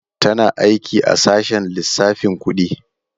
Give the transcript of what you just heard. Tana aiki a sashen lissafin kudi.